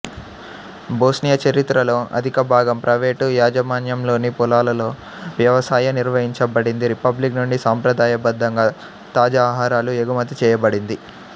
Bosnia చరిత్రలో అధికభాగం private యాజమాన్యంలోని పొలాలలో వ్యవసాయం నిర్వహించబడింది రిపబ్లిక్ నుండి సంప్రదాయబద్ధంగా తాజా ఆహారాలు ఎగుమతి చేయబడింది